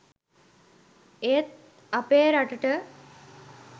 ඒත් අපේ රටට